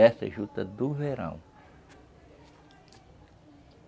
Essa é a juta do verão.